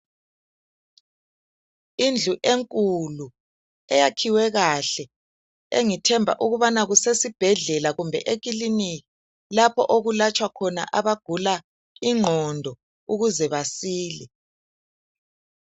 Indlu enkulu eyakhiwe kahle engithemba ukubana kusesibhedlela kumbe eklinika lapho okulatshwa khona abagula ingqondo ukuze basile.